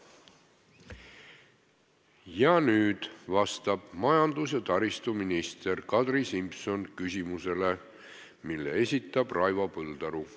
Ja nüüd vastab majandus- ja taristuminister Kadri Simson küsimusele, mille esitab Raivo Põldaru.